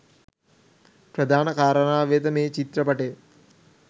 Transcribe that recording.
ප්‍රධාන කාරණාව වෙන මේ චිත්‍රපටය